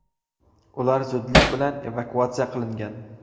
Ular zudlik bilan evakuatsiya qilingan.